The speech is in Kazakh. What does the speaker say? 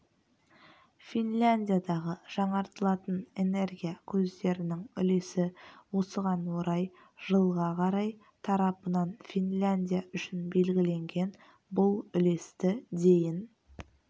финляндиядағы жаңартылатын энергия көздерінің үлесі осыған орай жылға қарай тарапынан финляндия үшін белгіленген бұл үлесті дейін